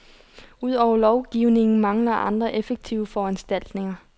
Ud over lovgivningen mangler andre effektive foranstaltninger.